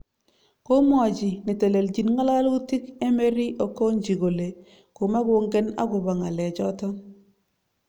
Komwachi netelechin ngalalutik Emery Okundji kole komakongen akobo ngalek choton